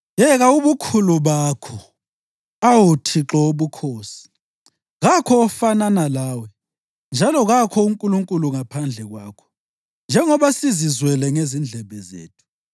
Yeka ubukhulu bakho, awu Thixo Wobukhosi! Kakho ofanana lawe, njalo kakho uNkulunkulu ngaphandle kwakho, njengoba sizizwele ngezindlebe zethu.